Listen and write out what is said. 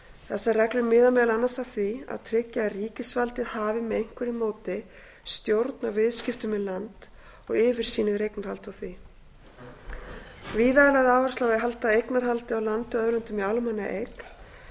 þessar reglur miða meðal annars að því að tryggja að ríkisvaldið hafi með einhverju móti stjórn á viðskiptum með land og yfirsýn yfir eignarhald á því víða er lögð áhersla á að halda eignarhaldi á landi og auðlindum í almannaeign en